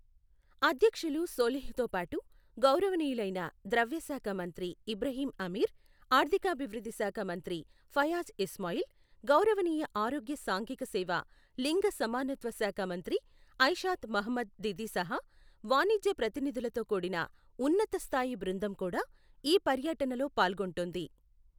అధ్యక్షులు సోలిహ్తోపాటు గౌరవనీయులైన ద్రవ్యశాఖ మంత్రి ఇబ్రహీం అమీర్, ఆర్థికాభివృద్ధి శాఖ మంత్రి ఫయాజ్ ఇస్మాయిల్, గౌరవనీయ ఆరోగ్య సాంఘికసేవ లింగ సమానత్వ శాఖ మంత్రి ఐషాత్ మొహమ్మద్ దిదిసహా వాణిజ్య ప్రతినిధులతో కూడిన ఉన్నతస్థాయి బృందం కూడా ఈ పర్యనటలో పాల్గొంటోంది.